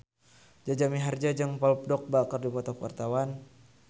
Jaja Mihardja jeung Paul Dogba keur dipoto ku wartawan